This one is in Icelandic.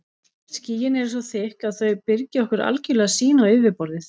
Skýin eru svo þykk að þau byrgja okkur algjörlega sýn á yfirborðið.